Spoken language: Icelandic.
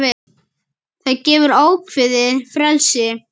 Það gefur ákveðið frelsi.